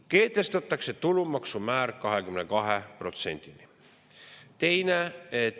Kehtestatakse tulumaksumäär 22%‑ni.